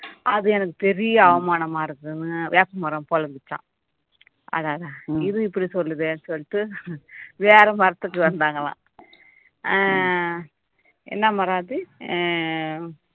அது எனக்கு பெரிய அவமானமா இருக்குன்னு வேப்பமரம் பொலம்பிச்சாம் இது இப்படி சொல்லுதேன்னு சொல்லிட்டு வேற மரத்துக்கு வந்தாங்களாம் அஹ் என்ன மரம் அது அஹ்